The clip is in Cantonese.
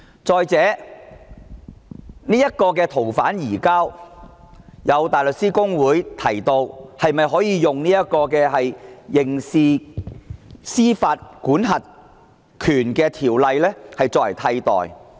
再者，關於建議的移交逃犯安排，香港大律師公會提出以修訂《刑事司法管轄權條例》替代。